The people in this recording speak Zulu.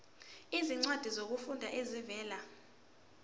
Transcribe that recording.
izincwadi zokufunda ezivela